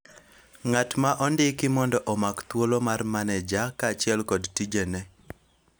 ng'ato ma ondiki mondo omak thuolo mar maneja ,kaachiel kod tijene